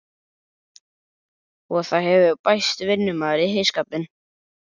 Og það hefur bæst vinnumaður í heyskapinn.